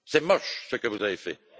C'est moche ce que vous avez fait.